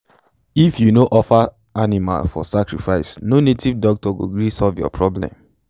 if u no offer animal for sacrifice no native doctor go gree solve your problems.